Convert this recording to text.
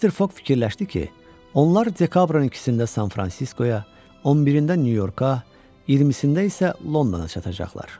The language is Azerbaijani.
Mister Foq fikirləşdi ki, onlar dekabrın ikisində San Fransiskoya, 11-də Nyu-Yorka, 20-sində isə Londona çatacaqlar.